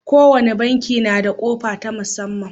Kowane banki na da ƙofa ta musamman.